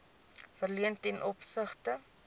verleen ten opsigte